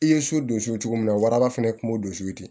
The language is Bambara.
I ye so don so cogo min na waraba fana kun y'o di